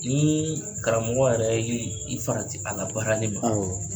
Ni karamɔgɔ yɛrɛ y'i farati a labaarali ma, awɔ